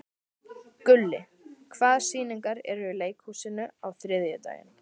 Gulli, hvaða sýningar eru í leikhúsinu á þriðjudaginn?